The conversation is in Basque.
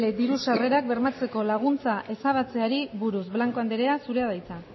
dbl diru sarrerak bermatzeko laguntza ezabatzeari buruz blanco andrea zurea da hitza